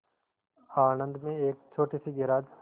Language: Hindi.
आणंद में एक छोटे से गैराज